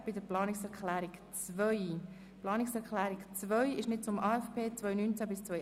Die Planungserklärung 2 bezieht sich nicht auf den AFP 2019–2021, sondern auf den VA 2018.